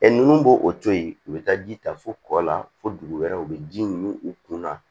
nunnu b'o o to yen u be taa ji ta fo kɔ la fo dugu wɛrɛ u be ji min u kun na